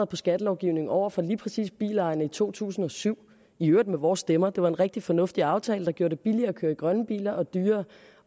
på skattelovgivningen over for lige præcis bilejerne i to tusind og syv i øvrigt med vores stemmer for det var en rigtig fornuftig aftale der gjorde det billigere at køre i grønne biler og dyrere